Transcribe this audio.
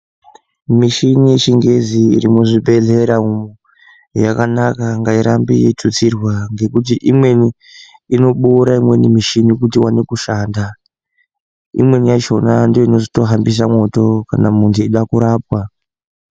Mishini yechingezi iri muzvibhedhlera umu yakanaka, ngairambe yeitutsirwa ngekuti imweni inoboora imweni mishini kuti iwane kushanda. Imweni yachona ndoine ichitohambise mwoto kana muntu eida kurapwa.